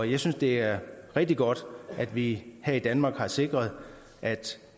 jeg synes det er rigtig godt at vi her i danmark har sikret at